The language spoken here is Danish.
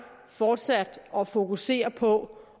fortsat at fokusere på